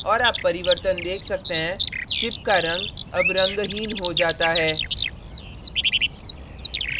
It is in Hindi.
और आप परिवर्तन देख सकते हैं ship का रंग अब रंगहीन हो जाता है